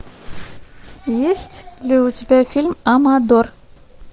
есть ли у тебя фильм амадор